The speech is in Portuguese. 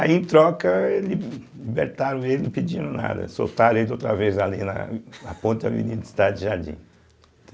Aí, em troca, ele libertaram ele, não pediram nada, soltaram ele outra vez ali na na ponte da Avenida Cidade Jardim.